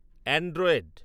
Android